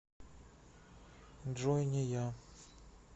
джой не я